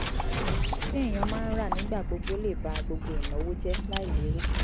téèyàn máa ń rà nígbà gbogbo lè ba gbogbo ìnáwó jẹ́ láì lérò